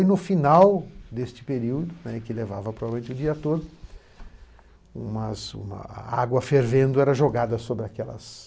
E no final deste período, né, que levava provavelmente o dia todo, umas uma a água fervendo era jogada sobre aquelas